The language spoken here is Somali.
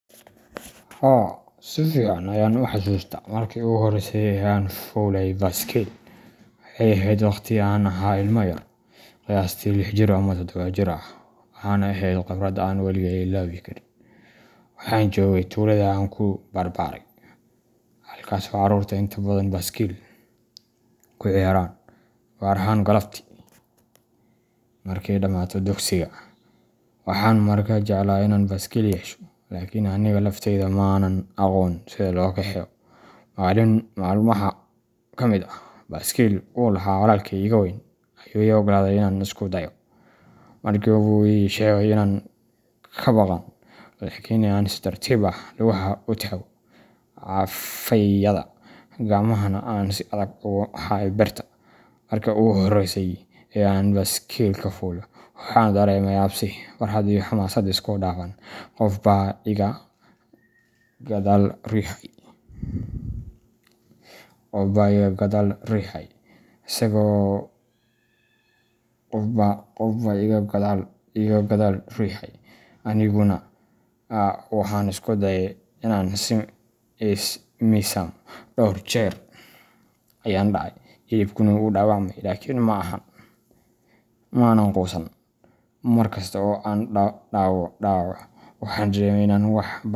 Haa, si fiican ayaan u xasuustaa markii ugu horreysay ee aan fuulay baaskiil. Waxay ahayd waqti aan ahaa ilmo yar, qiyaastii lix jir ama toddobo jir ah, waxaana ahayd khibrad aan weligay illoobi karin. Waxaan joogay tuulada aan ku barbaaray, halkaasoo carruurtu inta badan baaskiil ku ciyaaraan, gaar ahaan galabtii markay dhamaato dugsiga. Waxaan markaa jeclaa inaan baaskiil yeesho, laakiin aniga laftayda ma aanan aqoon sida loo kaxeeyo. Maalin maalmaha ka mid ah, baaskiil uu lahaa walaalkay iga weyn ayuu ii oggolaaday inaan isku dayo. Waxa uu ii sheegay inaan ka baqan, laakiin aan si tartiib ah lugaha ugu taago cagafyada, gacmahana aan si adag ugu hayo birta. Markii ugu horreysay ee aan baaskiilka fuulo, waxaan dareemay cabsi, farxad iyo xamaasad isku dhafan. Qof baa iga gadaal riixayay, aniguna waxaan isku dayayay inaan is miisaamo. Dhowr jeer ayaan dhacay, jilibkayguna wuu dhaawacmay, laakin ma aanan quusan. Mar kasta oo aan dhaco, waxaan dareemayay in aan wax.